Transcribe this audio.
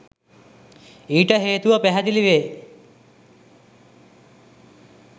ඊට හේතුව පැහැදිලිවේ